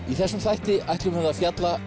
í þessum þætti ætlum við að fjalla